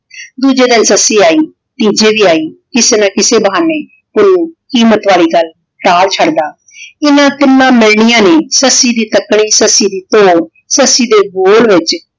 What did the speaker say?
ਦੂਜੇ ਦਿਨ ਸੱਸੀ ਆਈ ਤੀਜੇ ਵੀ ਆਈ ਕਿਸੇ ਨਾ ਕਿਸੇ ਬਹਾਨੇ ਪੁੰਨੂੰ ਕੀਮਤ ਵਾਲੀ ਗੱਲ ਟਾਲ ਛੱਡਦਾ। ਇਹਨਾਂ ਤਿੰਨਾਂ ਮਿਲਣੀਆਂ ਨੇ ਸੱਸੀ ਦੀ ਤੱਕਣੀ ਸੱਸੀ ਦੀ ਤੋਰ ਸੱਸੀ ਦੇ ਬੋਲ ਵਿਚ